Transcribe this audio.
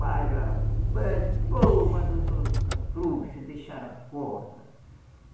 Mas, rapaz, pô, mas os homens são frouxo, deixaram a corda.